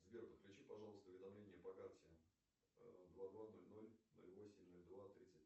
сбер подключи пожалуйста уведомление по карте два два ноль ноль ноль восемь ноль два тридцать